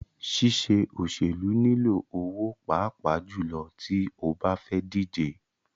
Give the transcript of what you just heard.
Ṣíṣe òṣèlú nilò owó pàápàá jùlọ tí o bá fẹ́ díje.